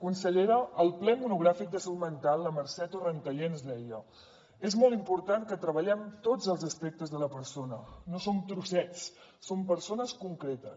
consellera al ple monogràfic de salut mental la mercè torrentallé ens deia és molt important que treballem tots els aspectes de la persona no som trossets som persones concretes